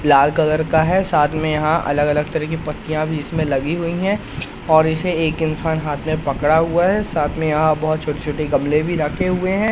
लाल colour का है साथ में यहां अलग अलग तरह की पत्तियां भी इसमें लगी हुई है और इसे एक इंसान हाथ मे पकड़ा हुआ है साथ में यहां बहोत छोटे छोटे गमले भी रखे हुए है।